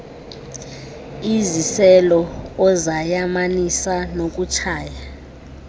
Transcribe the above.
iziselo ozayamanisa nokutshaya